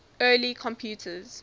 early computers